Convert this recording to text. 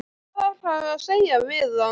Hvað ætlarðu að segja við hann?